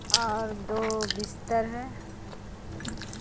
और दो बिस्तर है।